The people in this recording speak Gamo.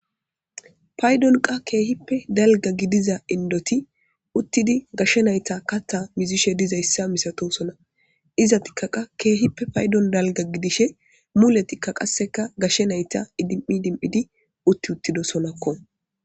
paydon qa keehippe dalga gidiza indoti uttidi gashshe nayta katta mizishe diza yssa misatosona iza tikka qa keehippe paydon dalga gidishe muletikka qasseka gashshe nayta idim7i dim7idi utti uttido sonakko